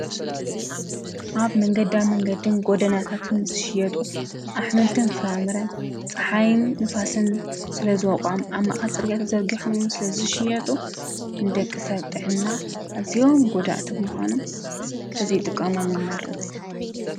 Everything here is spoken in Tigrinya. ኣብ መንገዳ መንገዲን ጎደናታትን ዝሽየጡ ኣሕምልትን ፍራምረን ፀሓይን ንፋስን ስለዝወቕዖም ኣብ ማእከል ፅርግያ ተዘርጊሖም ስለ ዝሸየጡ ንደቂ ሰብ ጥዕና ኣዝዮም ጎዳእቲ ብምዃኖም ተዘይጥቀሞም ይመርጽ።